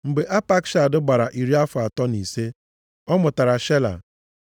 Mgbe Apakshad gbara iri afọ atọ na ise, ọ mụtara Shela.